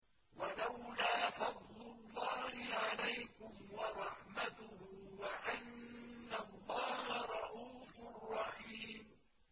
وَلَوْلَا فَضْلُ اللَّهِ عَلَيْكُمْ وَرَحْمَتُهُ وَأَنَّ اللَّهَ رَءُوفٌ رَّحِيمٌ